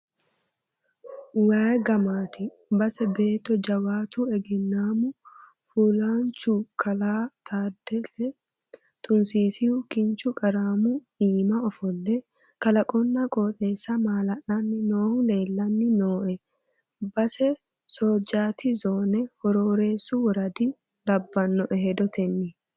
Waayi gamati base beetto jawaatu egennamu fulahanchu Kalaa Taaddele Tunisisihu kinchu qaramu iima ofolle kalaqonna qooxeessa mala'lani noohu leellani nooe base soojjaati zone Horoorreessu worada labbanoe hedotenni.